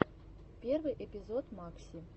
первый эпизод макси